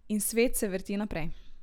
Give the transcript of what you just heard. In svet se vrti naprej.